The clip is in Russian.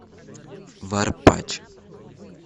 варпач